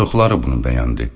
Çoxları bunu bəyəndi.